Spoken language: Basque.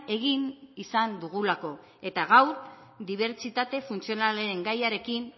egin izan dugulako eta gaur dibertsitate funtzionalen gaiarekin